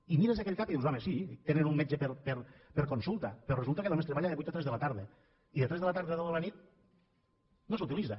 i mires aquell cap i dius home sí tenen un metge per consulta però resulta que només treballa de vuit a tres de la tarda i de tres de la tarda a deu de la nit no s’utilitza